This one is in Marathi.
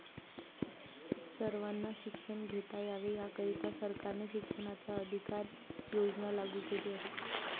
सर्वांना शिक्षण घेता यावे याकरिता सरकारने शिक्षणाचा अधिकार योजना लागू केली आहे.